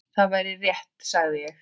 Það væri rétt, sagði ég.